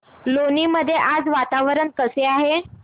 लोणी मध्ये आज वातावरण कसे आहे